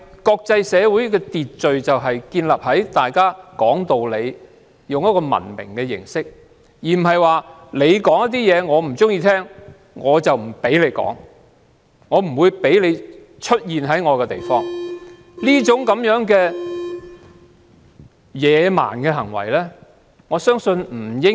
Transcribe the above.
國際社會的秩序就是建立在大家都說道理，用文明的形式發表意見，而不是不喜歡聽便不讓他人發表意見或在境內出現。